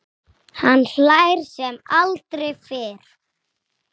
Hann hlær sem aldrei fyrr.